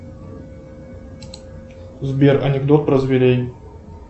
сбер анекдот про зверей